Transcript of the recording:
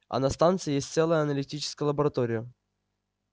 а на станции есть целая аналитическая лаборатория